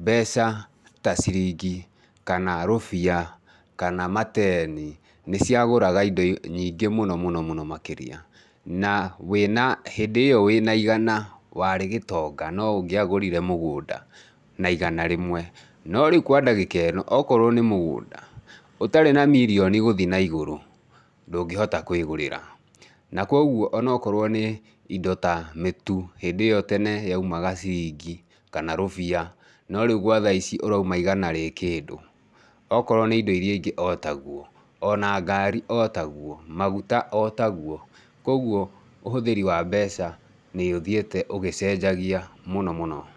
mbeca ta ciringi kana rũbia kana mateni, nĩciagũraga indo nyingĩ mũno mũno mũno makĩria. Na wĩna, hĩndĩ ĩyo wĩna igana, warĩ gĩtonga no ũngĩagũrire mũgũnda na igana rĩmwe. No rĩu kwa ndagĩka ĩno, okorwo nĩ mũgũnda, ũtarĩ na mirioni gũthiĩ na igũrũ, ndũngĩhota kwĩgũrĩra. Na koguo onokorwo nĩ indo ta mĩtu, hĩndĩ ĩyo tene yaumaga ciringi kana rũbia, no rĩu gwa tha-ici ũrauma igana rĩ kĩndũ. Okorwo nĩ indo iria ingĩ o taguo. Ona ngari o taguo, maguta o taguo. Koguo ũhũthĩri wa mbeca nĩũthiĩte ũgĩcenjagia mũno mũno.